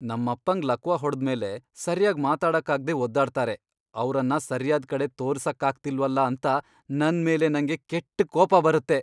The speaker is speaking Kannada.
ನಮ್ಮಪ್ಪಂಗ್ ಲಕ್ವ ಹೊಡ್ದ್ ಮೇಲೆ ಸರ್ಯಾಗ್ ಮಾತಾಡಕ್ಕಾಗ್ದೇ ಒದ್ದಾಡ್ತಾರೆ. ಅವ್ರನ್ನ ಸರ್ಯಾದ್ ಕಡೆ ತೋರ್ಸಕ್ಕಾಗ್ತಿಲ್ವಲ ಅಂತ ನನ್ ಮೇಲ್ ನಂಗೇ ಕೆಟ್ಟ್ ಕೋಪ ಬರತ್ತೆ.